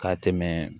Ka tɛmɛ